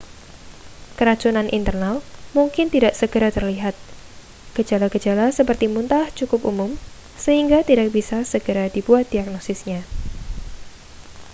keracunan internal mungkin tidak segera terlihat gejala-gejala seperti muntah cukup umum sehingga tidak bisa segera dibuat diagnosisnya